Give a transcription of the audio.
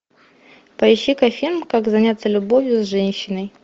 поищи ка фильм как заняться любовью с женщиной